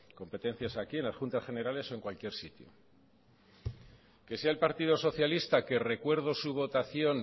competencias aquí en las juntas generales o en cualquier sitio que sea el partido socialista que recuerdo su votación